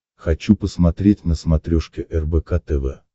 хочу посмотреть на смотрешке рбк тв